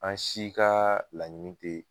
An si ka laɲini te